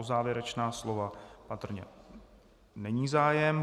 O závěrečná slova patrně není zájem.